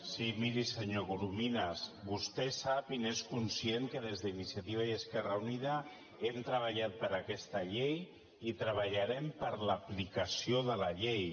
sí miri senyor corominas vostè sap i n’és conscient que des d’iniciativa i esquerra unida hem treballat per aquesta llei i treballarem per l’aplicació de la llei